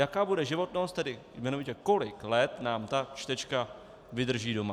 Jaká bude životnost, tedy jmenovitě kolik let nám ta čtečka vydrží doma.